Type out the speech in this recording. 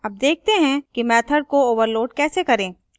अब देखते हैं कि मैथड़ को overload कैसे करें